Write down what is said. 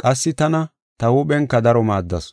qassi tana ta huuphenka daro maaddasu.